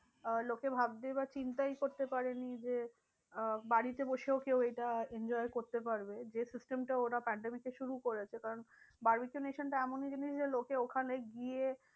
আহ লোকে ভাবতেই বা চিন্তায় করতে পারেনি যে আহ বাড়িতে বসেও কেউ এইটা enjoy করতে পারবে। যে system টা ওরা pandemic এ শুরু করেছে কারণ barbeque nation এমনই জিনিস যে লোকে ওখানে গিয়ে